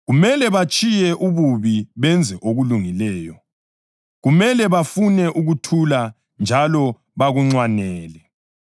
Kumele batshiye ububi benze okulungileyo; kumele bafune ukuthula njalo bakunxwanele.